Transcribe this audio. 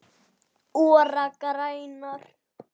ORA grænar